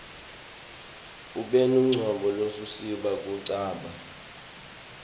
unebucopho lobusisita kucabanga